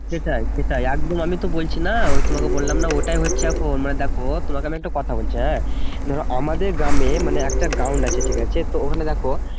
সেটাই সেটাই একদম আমি তো বলছি না ওই তোমাকে বললাম না ওটাই হচ্ছে এখন দেখো তোমাকে একটা কথা বলছি হ্যাঁ ধরো আমাদের গ্রামে মানে একটা ground আছে ঠিক আছে তো ওখানে দেখো